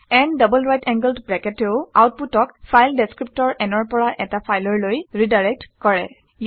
n double right angled bracket এও আউটপুটক file ডেচক্ৰিপ্টৰ n ৰ পৰা এটা ফাইললৈ ৰিডাইৰেক্ট কৰে